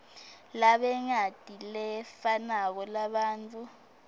banengati lefanako labantfu